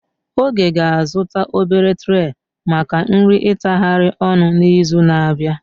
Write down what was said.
Oge ga-azụta obere treh maka nri itahari ọnu n'izu na-abịa.